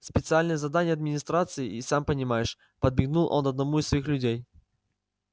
специальные задания администрации и сам понимаешь подмигнул он одному из своих людей